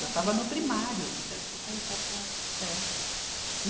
Eu estava no primário. Seis, sete anos. É.